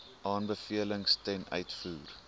aanbevelings ten uitvoer